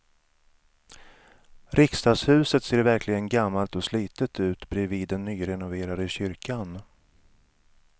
Riksdagshuset ser verkligen gammalt och slitet ut bredvid den nyrenoverade kyrkan.